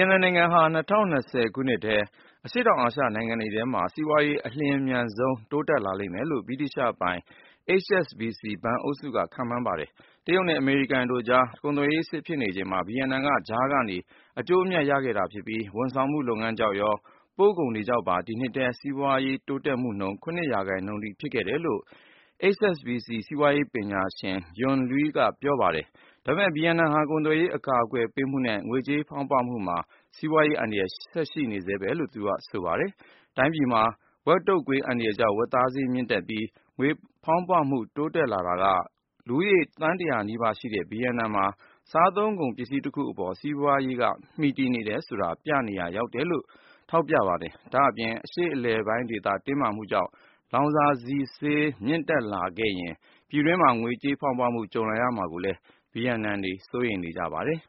က်နမ်နိုင်ငံဟာ ၂၀၂၀ ခုနှစ်ထဲ အရှေ့တောင်အာရှ နိုင်ငံတွေထဲမှာ စီးပွားရေး အလျှင်မြန်ဆုံး တိုးတက်လာလိမ့်မယ်လို့ ဗြိတိသျှပိုင် HSBC ဘဏ်အုပ်စုက ခန့်မှန်းထားပါတယ်။ တရုတ်နဲ့ အမေရိကန်တို့ ကုန်သွယ်ရေးစစ် ဖြစ်နေချိန်မှာ ဗီယက်နမ်က ကြားကနေ အကျိုးအမြတ်တွေ ရခဲ့တာဖြစ်ပြီး ဝန်ဆောင်မှုလုပ်ငန်းကြောင့်ရော ပို့ကုန်တွေကြောင့်ပါ ဒီနှစ်ထဲ တိုင်းပြည်စီးပွားရေး ဖွံ့ဖြိုးမှုနှုန်း ၇ ရာခိုင်နှုန်းအထိ ဖြစ်ခဲ့တယ်လို့ HSBC စီးပွားရေးပညာရှင် Yun Liu က ပြောပါတယ်။ ဒါပေမယ့် ဗီယက်နမ်ဟာ ကုန်သွယ်ရေး အကာကွယ်ပေးမှုနဲ့ ငွေဖောင်းပွမှုမှာ စီးပွားရေးအန္တရာယ် ဆက်ရှိနေဆဲပဲလို့ သူကဆိုပါတယ်။ တိုင်းပြည်မှာ ဝက်တုတ်ကွေး အန္တရာယ်ကြောင့် ဝက်သားဈေးမြင့်ပြီး ငွေဖောင်းပွမှု တိုးလာတာက လူဦးရေ သန်း ၁၀၀ နီးပါးရှိတဲ့ ဗီယက်နမ်မှာ စားသုံးကုန်ပစ္စည်းတခုအပေါ် စီးပွားရေးက တည်မီနေတယ်ဆိုတာကို ပြသနေရာ ရောက်တယ်လို့ ဆိုပါတယ်။ ဒါ့အပြင် အရှေ့အလယ်ပိုင်းဒေသ တင်းမာမှုကြောင့် လောင်စာဆီဈေး မြင့်လာခဲ့ရင် ပြည်တွင်းမှာ ငွေကြေးဖောင်းပွမှု ကြုံလာမှာကိုလည်း ဗီယက်နမ်တွေ စိုးရိမ်နေကြပါတယ်